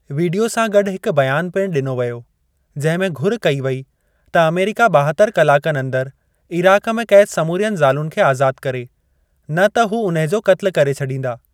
Video सां गॾु हिकु बयानु पिणु ॾिनो वियो जंहिं में घुर कई वेई त अमेरिका ॿाहत्तर कलाकनि अंदरि इराक़ में क़ैद समूरियुनि ज़ालुनि खे आज़ाद करे, न त हू उन्हे जो क़त्ल करे छॾीन्दा।